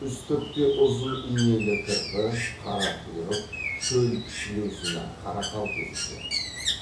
үстіртте ұзын инелі кірпі қарақұйрық шөл сілеусіні қарақал кездеседі